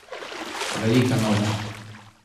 Velika noč.